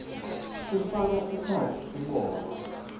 kufaka ekhatsi tibongo